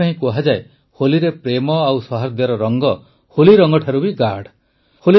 ସେଥିପାଇଁ କୁହାଯାଏ ହୋଲିରେ ପ୍ରେମ ଓ ସୌହାର୍ଦ୍ଦ୍ୟର ରଙ୍ଗ ହୋଲିରଂଗଠାରୁ ବି ଗାଢ଼